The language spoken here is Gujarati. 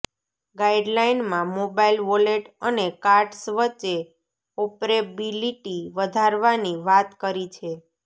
ગાઇડલાઇનમાં મોબાઇલ વોલેટ અને કાર્ડ્સ વચ્ચે ઓપરેબિલિટી વધારવાની વાત કરી છે